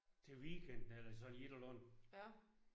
Til weekenden eller sådan et eller andet